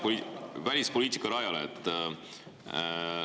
Liigume välispoliitika rajale.